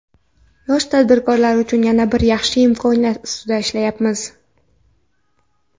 Yosh tadbirkorlar uchun yana bir yaxshi imkoniyat ustida ishlayapmiz.